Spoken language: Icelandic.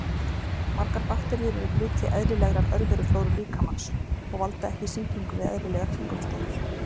Margar bakteríur eru hluti eðlilegrar örveruflóru líkamans og valda ekki sýkingum við eðlilegar kringumstæður.